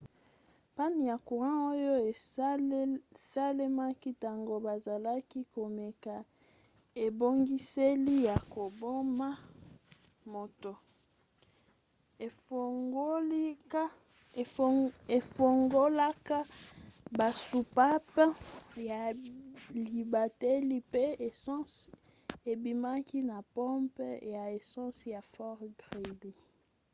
panne ya courant oyo esalemaki ntango bazalaki komeka ebongiseli ya koboma moto efungolaka basoupape ya libateli mpe essence ebimaki na pompe ya essence ya fort greely 9